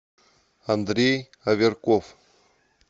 андрей аверков